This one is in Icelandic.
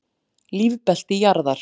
Lífbelti jarðar.